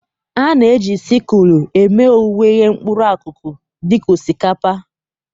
A na-eji sịkụlụ eme owuwe ihe mkpụrụ akụkụ dị ka osikapa wdg.